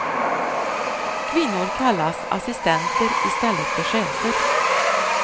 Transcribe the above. Kvinnor kallas assistenter i stället för chefer.